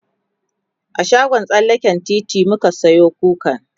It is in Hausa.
a shagon tsallaken titi muka Sayo kukan